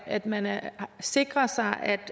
at man sikrer sig at